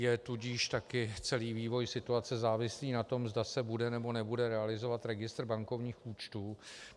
Je tudíž také celý vývoj situace závislý na tom, zda se bude, nebo nebude realizovat registr bankovních účtů.